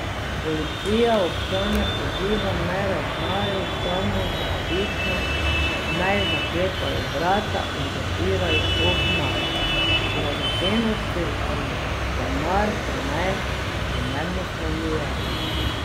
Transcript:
Policija občane poziva, naj ravnajo samozaščitno, naj zaklepajo vrata in zapirajo okna, dragocenosti in denar pa naj primerno shranjujejo.